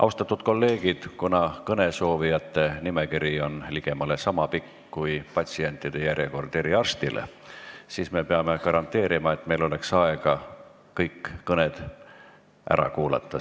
Austatud kolleegid, kuna kõnesoovijate nimekiri on ligemale niisama pikk kui patsientide järjekord eriarsti juurde, siis me peame garanteerima, et meil oleks aega kõik kõned ära kuulata.